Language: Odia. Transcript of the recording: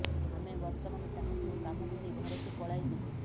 ଆମେ ବର୍ତ୍ତମାନ ଚାହୁଁଛୁ କାମ ଛାଡ଼ି ଘରକୁ ପଳାଇ ଯିବୁ